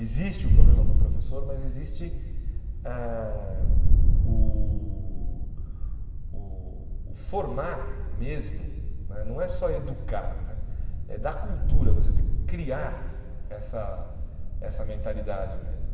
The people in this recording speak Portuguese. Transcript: Existe o problema com o professor, mas existe eh o o o formar mesmo, né não é só educar né, é dar cultura, você tem que criar essa essa mentalidade mesmo.